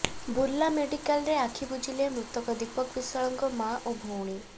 ବୁର୍ଲା ମେଡିକାଲରେ ଆଖି ବୁଜିଲେ ମୃତକ ଦୀପକ ବିଶ୍ୱାଳଙ୍କ ମା ଓ ଭଉଣୀ